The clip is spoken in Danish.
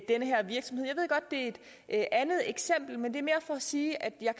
et andet at sige at jeg